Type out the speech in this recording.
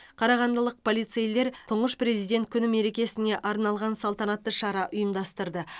қарағандылық полицейлер тұңғыш президенті күні мерекесіне арналған салтанатты шара ұйымдастырды